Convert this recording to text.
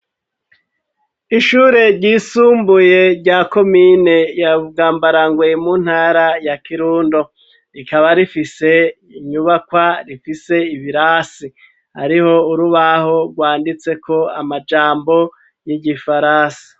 Ishure ryisumbuye rya komine yabwambarangwe mu ntara ya kirundo , rikaba rifise inyubakwa rifise ibirasi ariho urubaho rwanditseko amajambo y’igifaransa.